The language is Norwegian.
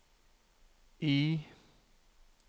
I